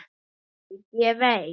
Ég veit, ég veit.